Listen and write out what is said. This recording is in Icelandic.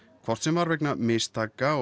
hvort sem var vegna mistaka